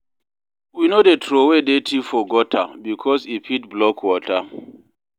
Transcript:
We no dey troway dirty for gutter, because e fit block water.